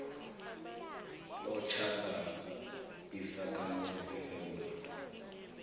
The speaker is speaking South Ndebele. otjhada isakhamuzi sesewula